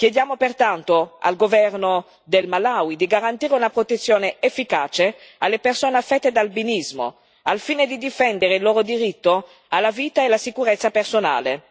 Chiediamo pertanto al governo del Malawi di garantire una protezione efficace alle persone affette da albinismo, al fine di difendere il loro diritto alla vita e la sicurezza personale.